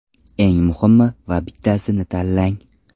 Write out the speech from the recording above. Eng muhimi va bittasini tanlang.